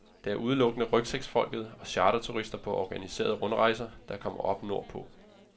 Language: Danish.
Det er udelukkende rygsækfolket og charterturister på organiserede rundrejser, der kommer op nord på.